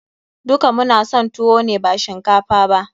Duka mu na son tuwo ne ba shinkafa ba.